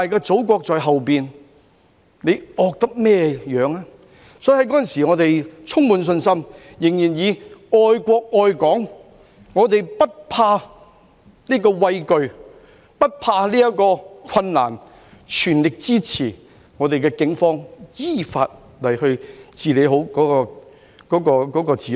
所以我們在當時充滿信心，仍然本着愛國愛港的精神，不畏懼，不怕難，全力支持我們的警方依法治理好治安。